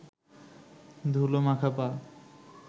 ধুলো মাখা পা